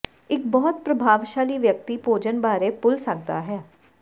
ਇੱਕ ਬਹੁਤ ਪ੍ਰਭਾਵਸ਼ਾਲੀ ਵਿਅਕਤੀ ਭੋਜਨ ਬਾਰੇ ਭੁੱਲ ਸਕਦਾ ਹੈ